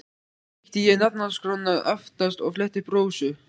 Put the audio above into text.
Svo ég kíkti í nafnaskrána aftast og fletti upp Rósu.